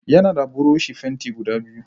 Yana da buroshi fenti guda biyu.